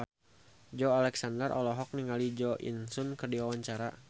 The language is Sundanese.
Joey Alexander olohok ningali Jo In Sung keur diwawancara